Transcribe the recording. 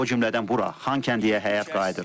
O cümlədən bura Xankəndiyə həyat qayıdır.